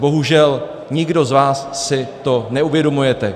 Bohužel, nikdo z vás si to neuvědomujete.